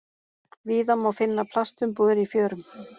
Víða má finna plastumbúðir í fjörum.